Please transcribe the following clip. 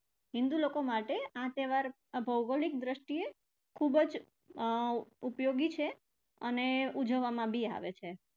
હિંદુ લોકો માટે આ તહેવાર ભૌગોલિક દ્રષ્ટીએ ખુબ જ અર ઉપયોગી છે અને ઉજવવામાં પણ આવે છે.